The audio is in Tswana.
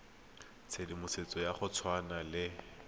tshedimosetso ya go tshwana le